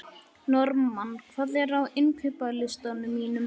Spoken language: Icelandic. Normann, hvað er á innkaupalistanum mínum?